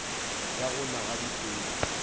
ya go na ga dipula